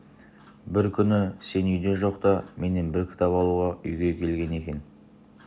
бір күні сен үйде жоқта менен бір кітап алуға үйге келген екен